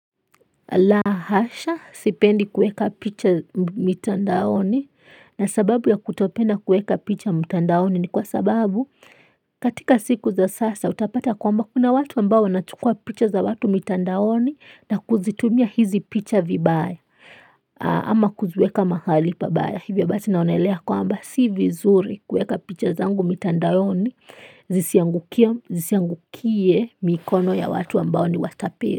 La hasha sipendi kuweka picha mitandaoni na sababu ya kutopena kuweka picha mitandaoni ni kwa sababu katika siku za sasa utapata kwamba kuna watu ambao wanachukua picha za watu mitandaoni na kuzitumia hizi picha vibaya ama kuziweka mahali pabaya hivyo basi naonelea kwamba si vizuri kuweka picha zangu mtandaoni zisiangukie zisiangukie mikono ya watu ambao ni watapeli.